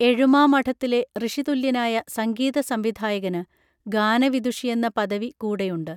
എഴുമാമഠത്തിലെ ഋഷിതുല്യനായ സംഗീത സംവിധായകന് ഗാനവിദുഷിയെന്ന പദവി കൂടെയുണ്ട്